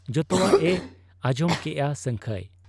ᱡᱚᱛᱚᱣᱟᱜ ᱮ ᱟᱸᱡᱚᱢ ᱠᱮᱜ ᱟ ᱥᱟᱹᱝᱠᱷᱟᱹᱭ ᱾